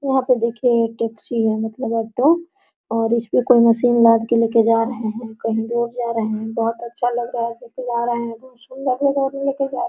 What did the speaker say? वहाँ पे देखिये ये टैक्सी है मतलब ऑटो और इसपे कोई मशीन लाद के ले के जा रहें हैं कहीं दूर जा रहें हैं बहुत अच्छा लग रहा है लेके जा रहें हैं बहुत सुन्दर जगह लेके जा रहें हैं।